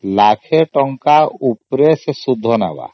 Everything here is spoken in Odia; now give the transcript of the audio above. ଲକ୍ଷେ ଟଙ୍କାର ଉପରେ ସେ ସୁଧ ନେଲା